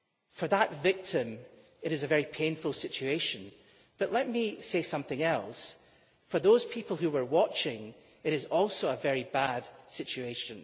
For that victim it was a very painful situation, but let me say, too, that for the people who were watching it was also a very bad situation.